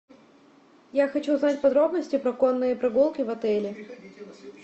я хочу узнать подробности про конные прогулки в отеле